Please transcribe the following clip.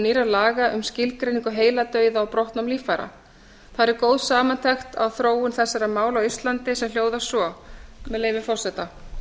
nýrra laga um skilgreiningu heiladauða og brottnám líffæra þar er góð samantekt á þróun þessara mála á íslandi sem hljóðar svo með leyfi forseta